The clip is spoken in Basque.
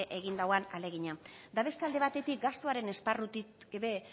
egin duen ahalegina eta beste alde batetik gastuaren esparrutik ere